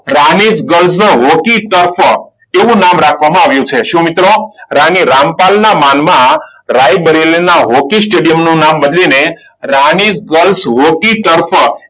Rani girls hockey stuff એવું નામ રાખવામાં આવ્યું છે. શું મિત્રો? રાણી રામપાલના માનમાં રાયબરેલીના હોકી સ્ટેડિયમનું નામ બદલીને રાણી ગર્લ્સ હોકી સ્ટફ.